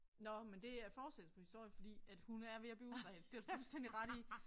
Nåh men det er fortsættelsen på historien fordi at hun er ved at blive udredt det har du fuldstændig ret i